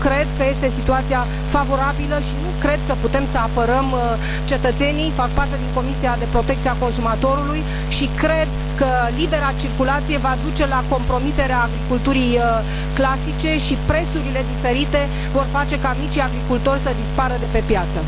Nu cred că este situația favorabilă și nu cred că putem să apărăm cetățenii fac parte din Comisia pentru piața internă și protecția consumatorilor și cred că libera circulație va duce la compromiterea agriculturii clasice, iar prețurile diferite vor face ca micii agricultori să dispară de pe piață.